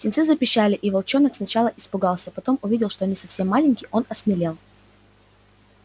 птенцы запищали и волчонок сначала испугался потом увидев что они совсем маленькие он осмелел